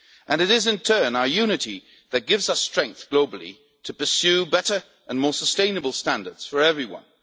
It is in turn our unity that gives us strength globally to pursue better and more sustainable standards for everyone